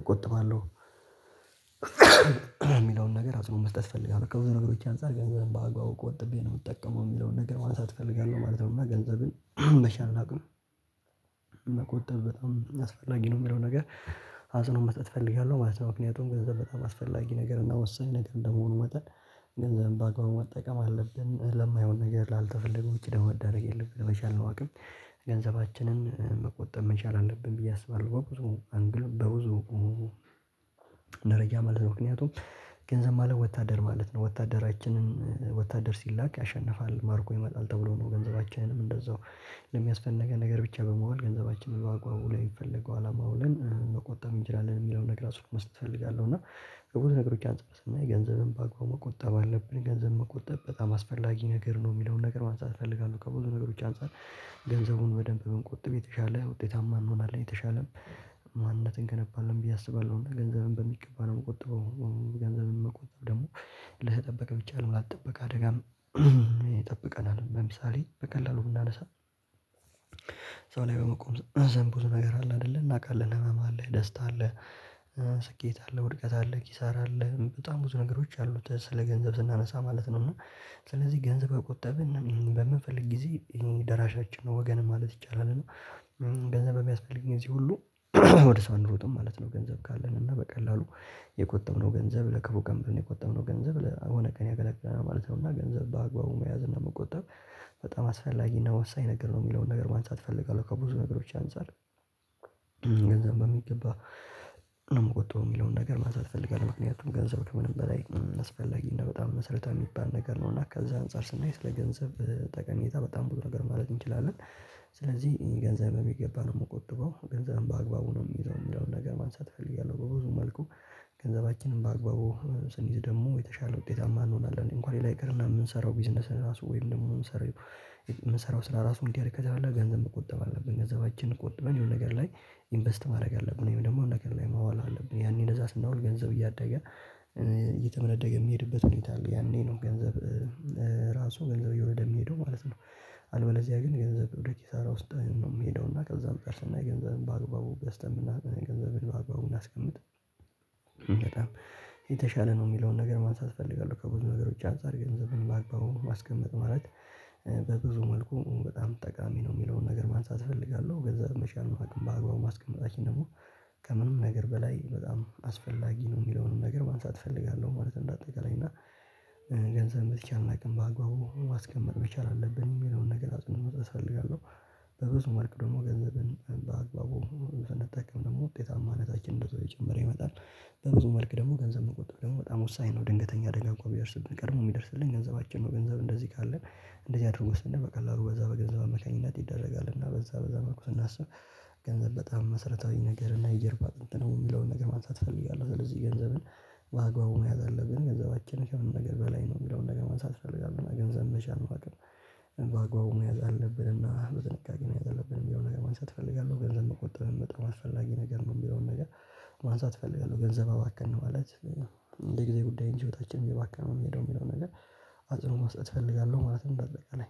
እቆጥባለሁ። የሚለውን ነገር አጽኖውን መስጠት ፈልጋለው በቃ ከብዙ ነገሮች አንፃር ገንዘብም በአግባቡ ቆጥቤ ነው የምጠቀመው የሚለውን ነገር ማንሳት እፈልጋለሁ ማለት ነው። እና ገንዘብን በቻልን አቅም መቆጠብ በጣም አስፈላጊ ነው የሚለው ነገር አጽኖ መስጥት እፈልጋለሁ ማለት ነው። ምክንያቱም ገንዘብ በጣም አስፈላጊ ነገር ነው። እና ወሳኝ ነገር እንደመሆኑ መጠን ገንዘብም በአግባቡ መጠቀም አለብን። ለማይሆን ነገር ላልተፈለገው ወጪ ደግሞ መዳደግ የለብንም በቻልነው አቅም ገንዘባችንን መቆጠብ መቻል አለብን ብዬ አስባለሁ። በብዙ አንግል በብዙ መረጃ ማለት ነው። ምክንያቱም ገንዘብ ማለት ወታደር ማለት ነው ወታደራችንን ወታደር ሲላክ ያሸንፋል ማርኮ ይመጣል ተብሎ ነው። ገንዘባችንም እንደዛው ለሚያስፈነገን ነገር ብቻ በመዋል ገንዘባችንን ባግባቡ ላይ የሚፈልገው አላማ አውለን መቆጠብ እንችላለን የሚለውን ነገር አስር መስጠት እፈልጋለሁ። እና በብዙ ነገሮች አንፃር ስናይ ገንዘብን በአግባቡ መቆጠብ አለብን ገንዘብ መቆጠብ በጣም አስፈላጊ ነገር ነው። የሚለውን ነገር ማንሳት እፈልጋለሁ ከብዙ ነገሮች አንፃር ገንዘቡን በደንብ ብንቆጥብ የተሻለ ውጤታማ እንሆናለን የተሻለም ማንነትን እንገነባለን ብዬ አስባለሁ። እና ገንዘብን በሚገባ ነው የምቆጥበው ገንዘብም መቆጠብ ደግሞ ለተጠበቀ ብቻ አይደለም ላልተጠበቀ አደጋም ይጠብቀናል። ለምሳሌ በቀላሉ ብናነሳ ሰው ላይ በመቆም ዘንድ ብዙ ነገር አለ አይደለ እናውቃለን ህመም አለ ደስታ አለ። ስኬት አለህ ውድቀት አለህ ኪሳራ አለህ በጣም ብዙ ነገሮች አሉት ስለ ገንዘብ ስናነሳ ማለት ነው። እና ስለዚህ ገንዘብ በቆጠበ በምንፈልግ ጊዜ ደራሻችን ነው ወገን ማለት ይቻላል። እና ገንዘብ በሚያስፈልግኝ ግዜ ሁሉ ወደ ሰው አንሮጥም ማለት ነው። ገንዘብ ካለን እና በቀላሉ የቆጠብነው ገንዘብ ለከፉ ቀን ብለን የቆጠብነው ገንዘብ ለሆነ ቀን ያገለግለናል ማለት ነው። እና ገንዘብ በአግባቡ መያዝ እና መቆጠብ በጣም አስፈላጊና ወሳኝ ነገር ነው። የሚለውን ነገር ማንሳት እፈልጋለሁ ከብዙ ነገሮች አንፃር ገንዘብ በሚገባ ነው የምቆጠው የሚለውን ነገር ማንሳት እፈልጋለሁ። ምክንያቱም ገንዘብ ከምንም በላይ አስፈላጊ እና በጣም መሰረታዊ የሚባል ነገር ነው እና ከዛ አንፃር ስናይ ስለ ገንዘብ ጠቀሜታ በጣም ብዙ ነገር ማለት እንችላለን። ስለዚህ ገንዘብ በሚገባ ነው የምቆጥበው ገንዘብም በአግባቡ ነው የሚይዘው ሚለውን ነገር ማንሳት እፈልጋለሁ። በብዙ መልኩ ገንዘባችንም በአግባቡ ስንይዝ ደግሞ የተሻለ ውጤታማ እንሆናለን እንኳን ሌላ ይቅርና የምንሰራው ቢዝነስን ራሱ ወይም ደግሞ ምሰራው ስራ ራሱ እንዲህ አድርገህ ከተባለ ገንዘብ መቆጠብ አለብን። ገንዘባችን ቆጥበን የሆነ ነገር ላይ ኢንቨስት ማድረግ አለብን። ወይም ደግሞ አንድ ነገር ላይ ማዋል አለብን። ያኔ ነዛ ስናውል ገንዘብ እያደገ እየተመነደገ የሚሄድበት ሁኔታ አለ። ያኔ ነው ገንዘብ ራሱ ገንዘብ እየሆነ ወደ የሚሄደው ማለት ነው። አልበለዚያ ግን ገንዘብ ወደ ኪሳራ ውስጥ ነው የሚሄደው። እና ከዛም ጨርሰን ገንዘብም በአግባቡ ገስተን የምናገኘው ገንዘብ በአግባቡ እናስቀምጥ በጣም የተሻለ ነው የሚለውን ነገር ማንሳት እፈልጋለሁ። ከብዙ ነገሮች አንፃር ገንዘብን ባግባቡ ማስቀመጥ ማለት በብዙ መልኩ በጣም ጠቃሚ ነው። የሚለውን ነገር ማንሳት እፈልጋለሁ ገንዘብ በቻልነው በአግባቡ ማስቀመጣችን ደግሞ ከምንም ነገር በላይ በጣም አስፈላጊ ነው። የሚለውንም ነገር ማንሳት እፈልጋለሁ ማለት እንደ አጠቃላይ እና ገንዘብ በተቻለን አቅም በአግባቡ ማስቀመጥ መቻል አለብን የሚለውን ነገር አጽኖ መስጠት እፈልጋለው። በብዙ መልኩ ደግሞ ገንዘብን በአግባቡ ስንጠቀም ደግሞ ውጤታማነታችን እንደዛው እየጨመረ ይመጣል። ይመጣል በብዙ መልክ ደግሞ ገንዘብ መቆጠብ ደግሞ በጣም ወሳኝ ነው። ድንገተኛ አደጋ እንኳን ቢደርስብን ቀድሞ የሚደርስልን ገንዘባችን ነው። ገንዘብ እንደዚህ ካለን እንደዚህ አድርጉ ስንል በዛ በገንዘብ አማካኝነት ይደረጋል። እና በዛ በዛ መልኩ ስናስብ ገንዘብ በጣም መሰረታዊ ነገር እና የጀርባ ቅንጥ ነው የሚለውን ነገር ማንሳት እፈልጋለሁ። ስለዚህ ገንዘብን በአግባቡ መያዝ አለብን። ገንዘባችን ከምንም ነገር በላይ ነው የሚለውን ነገር ማንሳት እፈልጋለው። ገንዘብ በቻልነው አቅም ባግባቡ መያዝ አለብንና በጥንቃቄ መያዝ አለብን የሚለውን ነገር ማንሳት እፈልጋለሁ። ገንዘብ መቆጠብን በጣም አስፈላጊ ነገር ነው። የሚለውን ነገር ማንሳት እፈልጋለሁ። ገንዘብ አባከንን ማለት እንደ ጊዜ ጉዳይ እንጂ ህይወታችን እየባከነ ነው የሚሄደው የሚለው ነገር አጽኖ መስጠት እፈልጋለሁ። ማለትም ባጠቃላይ